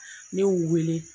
N'i y'u wele.